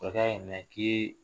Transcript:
Kɔrɔkɛ y'a ɲininka ko